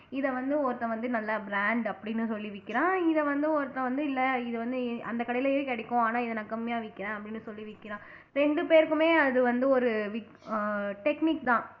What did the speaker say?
இதை வந்து ஒருத்தன் வந்து நல்லா brand அப்படின்னு சொல்லி விற்கிறான் இதை வந்து ஒருத்தன் வந்து இல்லை இது வந்து இ அந்த கடையிலேயே கிடைக்கும் ஆனா இதை நான் கம்மியா விக்கிறேன் அப்படின்னு சொல்லி விற்கிறான் ரெண்டு பேருக்குமே அது வந்து ஒரு விக் ஆஹ் technique தான்